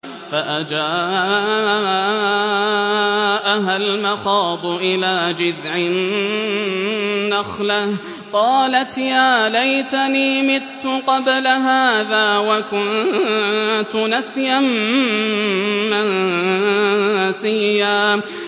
فَأَجَاءَهَا الْمَخَاضُ إِلَىٰ جِذْعِ النَّخْلَةِ قَالَتْ يَا لَيْتَنِي مِتُّ قَبْلَ هَٰذَا وَكُنتُ نَسْيًا مَّنسِيًّا